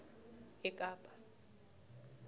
ekapa